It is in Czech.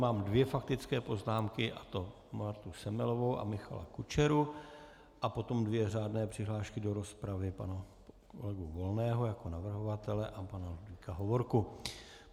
Mám dvě faktické poznámky, a to Martu Semelovou a Michala Kučeru, a potom dvě řádné přihlášky do rozpravy - pana kolegu Volného jako navrhovatele a pana Ludvíka Hovorku.